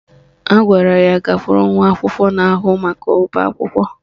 Ị gwara ya gakwuru nwa akwụkwọ na-ahụ maka ọbaakwụkwọ?